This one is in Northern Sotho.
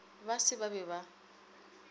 ba se ba be ba